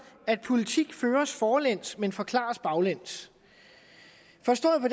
at politik føres forlæns men forklares baglæns forstået på